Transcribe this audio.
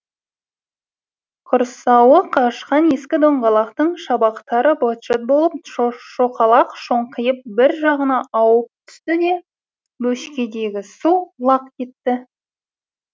құрсауы қашқан ескі доңғалақтың шабақтары быт шыт болып шоқалақ шоңқиып бір жағына ауып түсті де бөшкедегі су лақ етті